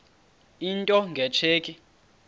into nge tsheki